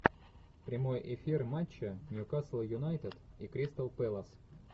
прямой эфир матча ньюкасл юнайтед и кристал пэлас